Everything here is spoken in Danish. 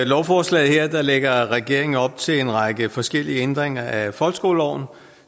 lovforslaget her lægger regeringen op til en række forskellige ændringer af folkeskoleloven